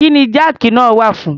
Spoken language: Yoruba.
Kí ni jáàkì náà wà fún?